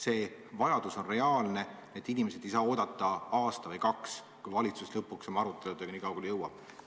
See vajadus on reaalne, need inimesed ei saa oodata aasta või kaks, millal valitsus lõpuks oma aruteludega nii kaugele jõuab.